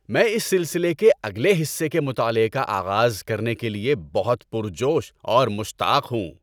میں اس سلسلے کے اگلے حصے کے مطالعے کا آغاز کرنے کے لیے بہت پُر جوش اور مشتاق ہوں!